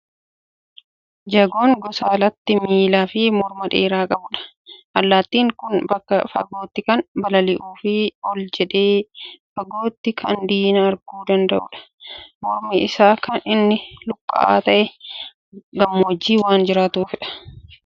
Jagoon gosa allaatti miilaa fi morma dheeraa qabudha. Allaattiin kun bakka fagootti kan balalii'uu fi ol jedhee fagootti kan diina arguu danda'udha. Mormi isaa kan inni luqqa'aa ta'eef, gammoojjii waan jiraatuufidha.